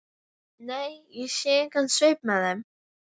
Nei, ég sé engan svip með þeim.